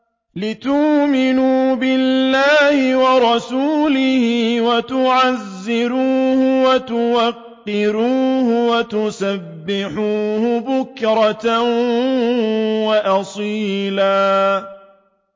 لِّتُؤْمِنُوا بِاللَّهِ وَرَسُولِهِ وَتُعَزِّرُوهُ وَتُوَقِّرُوهُ وَتُسَبِّحُوهُ بُكْرَةً وَأَصِيلًا